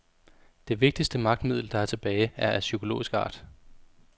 Det vigtigste magtmiddel, der er tilbage, er af psykologisk art.